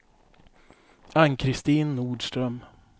Ann-Kristin Nordström